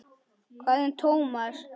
Hvað um Thomas?